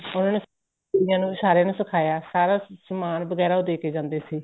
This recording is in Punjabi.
ਉਹਨਾ ਨੇ ਬੰਦਿਆਂ ਨੂੰ ਸਾਰਿਆਂ ਨੂੰ ਸਿਖਾਈਆ ਸਾਰਾ ਸਮਾਨ ਵਗੈਰਾ ਉਹ ਦੇਕੇ ਜਾਂਦੇ ਸੀ